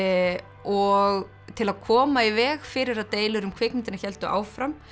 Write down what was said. og til að koma í veg fyrir að deilur um kvikmyndina héldu áfram